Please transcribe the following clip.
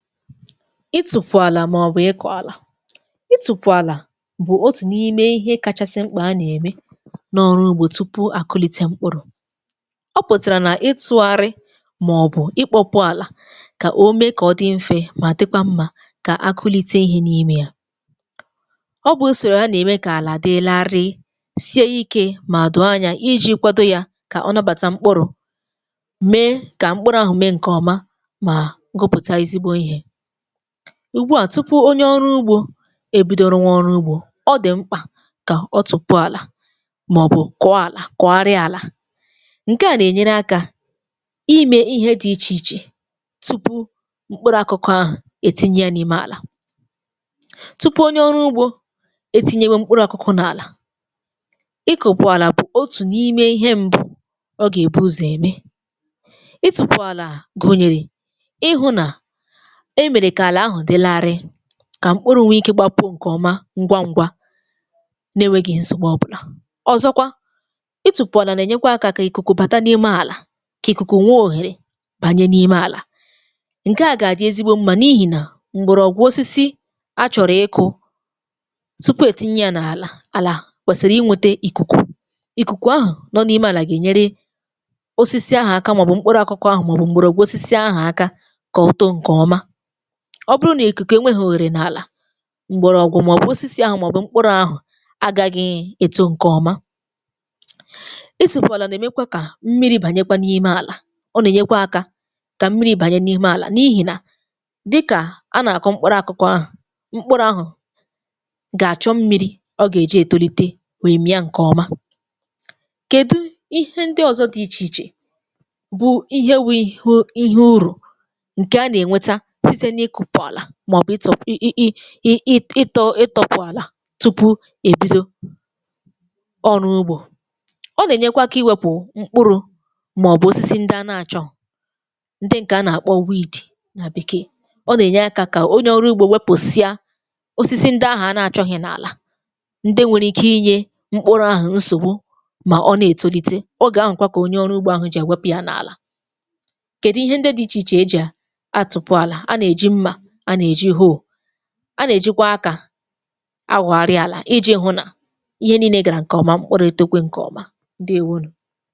Ịtụpụ̀ àlà màọbụ̀ ịkọ àlà; ịtụpụ̀ àlà bụ̀ otù n’ime ihe kachasị mkpa a nà-ème n’ọrụ ugbȯ tupu àkụlite mkpụrụ̇. Ọ pụ̀tàrà nà ịtụ̇gharị, màọbụ̀ ikpọpụ àlà kà o mee kà ọ dị mfe mà dịkwa mmȧ kà akụlite ihė n’ime yà. Ọ bụ̀ ùsòrò a nà-ème kà àlà dì larịị, sie ikė mà dòò anya iji̇ kwado yȧ kà ọ nàbàta mkpụrụ̇, mee kà mkpụrụ̇ ahụ̀ mee ǹkè ọma, ma gụputa ezigbo ihe. Ugbu a tupu onye ọrụ ugbȯ ebido rụ nwà ọrụ ugbȯ, ọ dị̀ mkpà kà ọ tụpụ àlà, màọ̀bụ̀ kọọ àlà kọgharia àlà. Nke à nà-ènyere akȧ, imė ihe dị̇ ichè ichè tupu mkpụrụ akụkụ ahụ̀ ètinye ya n’ime àlà. Tupu onye ọrụ ugbȯ, etinye nwe mkpụrụ akụkụ n’àlà, ị kụ̀pụ̀ àlà bụ̀ otù n’ime ihe mbụ ọ gà-èbu ụzọ̀ ème. Ịtụpụ̀ àlà gụ̀nyèrè ịhụ̇ nà èmere ka álà ahụ dị larịị, kà mkpụrụ̇ nwee ikė gbàpụ ǹkè ọma ngwa ngwa n’enweghị̇ nsògbu ọbụlà. Ọzọkwa ịtụpụ̀ àlà nà ẹ̀nyẹkwa akȧ kà ikùkù bàta n’ime àlà, kà ikùkù nwee òhèrè bànye n’ime àlà. Nke à gà-àdị ezigbo mmȧ n’ihì nà, mgbọrọgwụ osisi achọ̀rọ̀ ịkụ̇ tupu ètinye yȧ n’àlà, àlà kwèsìrì ịnwėte ikùkù. Ikùkù ahụ̀ nọ n’ime àlà gà-ènyere osisi ahụ̀ aka, màọbụ̀ mkpụrụ̇ akụkụ̇ ahụ̀, màọbụ̀ m̀gbọ̀rọ̀gwụ̀ osisi ahụ̀ aka ka ó too nke ọma. Ọ bụrụ nà ìkùkù enweghì òherè n’àlà, m̀gbọ̀rọ̀gwụ̀, màọbụ̇ osisi ahụ̇, màọbụ̇ mkpụrụ̇ ahụ̀ agȧghị̇ èto ǹkẹ ọma. Ịtụpụ àlà nà-ème kwa kà mmiri̇ bànyekwa n’ime àlà, ọ nà-ènye kwa akȧ kà mmiri̇ bànye n’ịme àlà. N’ịhị nà, dịkà a nà-àkọ mkpụrụ akụkụ ahụ̀, mkpụrụ̇ ahụ̀ gà-àchọ mmiri̇ ọ gà-èji ètolite wèe mià ǹkẹ̀ ọma. Kèdụ ihe ndị ọzọ dị ichè ichè bụ ihewi̇ ihe ùrụ, nke a na - enweta sịte na ịkụpụ ala, maọbụ ịtọ ị ị ị ịtọ ịtọpu àlà tupu èbido ọrụ ugbȯ. Ọ nà-ènyekwa akà iwėpụ̀ mkpụrụ̇, màọbụ̀ osisi ndị a na-àchọghu, ndị ǹkè a nà-àkpọ weed na békee. Ọ nà-ènye akà kà onye ọrụ ugbȯ wepụsia osisi ndị ahụ̀ a na-àchọghi n’àlà. Ndị nwèrè ike inye mkpụrụ ahụ̀ nsògbu, mà ọ na-ètolite. Ogè ahụ̀ kwa kà onye ọrụ ugbȯ ahụ̀ jì ewepụ ya n’àlà. Kedụ ihe ndị dị iche iche ejì atụpu ala. A na-eji nmà, a nà-èji hoe,a nà-èjikwa akȧ awoghari àlà. Iji hụ̇ nà ihe nị́ị́le gàrà ǹkẹ̀ ọ̀ma, mkpụrụ ètokwe ǹkẹ̀ ọ̀ma. Ndewo nụ.